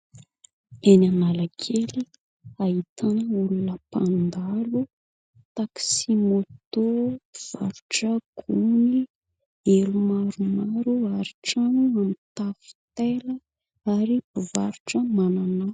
Eny analakely, ahitana olona mpandalo ; taxi-moto ; mpivarotra gony ; elo maromaro ; ary trano mitafo taila ary mpivarotra mananasy.